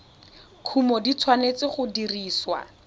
kumo di tshwanetse go dirisiwa